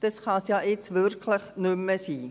Das kann es doch nun wirklich nicht mehr sein!